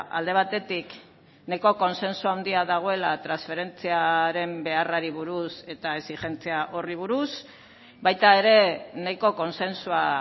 alde batetik nahiko kontsentsu handia dagoela transferentziaren beharrari buruz eta exijentzia horri buruz baita ere nahiko kontsensua